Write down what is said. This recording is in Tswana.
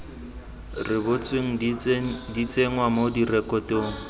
rebotsweng di tsenngwa mo direkotong